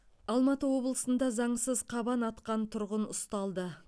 алматы облысында заңсыз қабан атқан тұрғын ұсталды